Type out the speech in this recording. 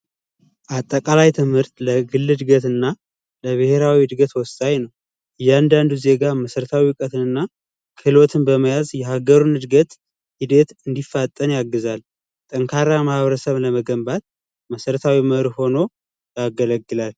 አጠቃላይ ትምህርት ለግልድና ለብሔራዊ እድገት ወሳኝ ነው እያንዳንዱ ዜጋ መሠረታዊ እውቀትንና ክህሎትን በመያዝ የሀገሩን እድገት እንዲፈጠን ያግዛል ጠንካራ ማህበረሰብ ለመገንባት መሰረታዊ መርሆኖ ያገለግላል